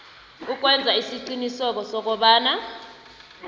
ukwenza isiqiniseko sokobana